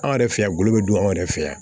Anw yɛrɛ fɛ yan gɔlɔ bɛ dun anw yɛrɛ fɛ yan